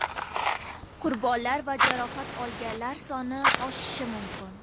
Qurbonlar va jarohat olganlar soni oshishi mumkin.